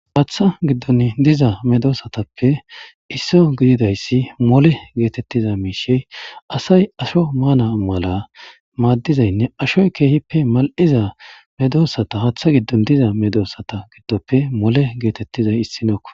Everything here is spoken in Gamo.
Haaththa giddon diza medoosatappe isso gididayssi mole geetettiza miishey asay asho maana mala maaddizaynne ashoy keehippe mal'iza medoosata haaththa giddon diza medoossata giddoppe mole geetettizay issinokko